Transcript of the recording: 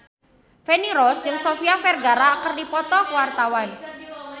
Feni Rose jeung Sofia Vergara keur dipoto ku wartawan